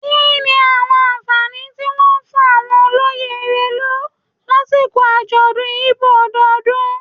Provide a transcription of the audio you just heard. Kini awọn anfani ti wọn fun awọn oloye Erelu lasiko ajọdun Igbo ọdọọdun?